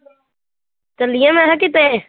ਚੱਲੀਏ ਮੈਂ ਕਿਹਾ ਕਿਤੇ?